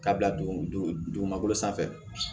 K'a bila dugu magolo sanfɛ